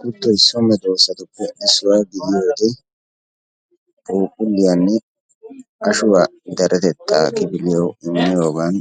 Kuttoy so medosattuppe issuwa gidiyooge phuuphulliyanne ashuwa deretetaa kifiliyawu imiyogan